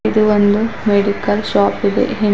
ಇದು ಒಂದು medical shop ಇದೆ ಹಿಂ--